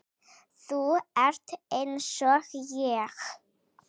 Þú ert einsog ég.